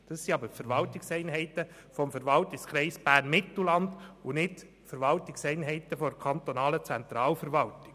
Dies sind aber Verwaltungseinheiten des Verwaltungskreises Bern-Mittelland und nicht der kantonalen Zentralverwaltung.